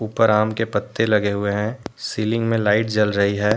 ऊपर आम के पत्ते लगे हुए हैं सीलिंग में लाइट जल रही है।